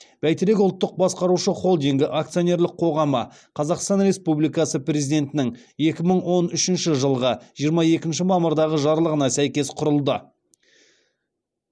бәйтерек ұлттық басқарушы холдингі акционерлік қоғамы қазақстан республикасы президентінің екі мың он үшінші жылғы жирма екінші мамырдағы жарлығына сәйкес құрылды